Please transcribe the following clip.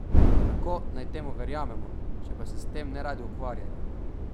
Kako naj temu verjamemo, če pa se s tem neradi ukvarjajo?